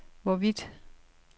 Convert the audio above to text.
hvorvidt